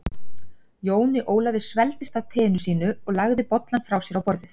Jóni Ólafi svelgdist á teinu sínu og lagði bollann frá sér á borðið.